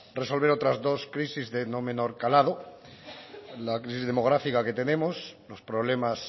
resolver otras dos crisis de no menor calado la crisis demográfica que tenemos los problemas